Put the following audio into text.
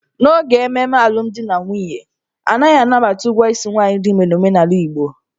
N'oge ememe alụmdi na nwunye, a naghị anabata ụgwọ isi nwaanyị dị ime n'omenala Igbo.